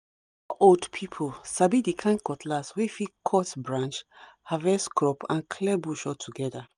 old people sabi the kind cutlass wey fit cut branch harvest crop and clear bush all together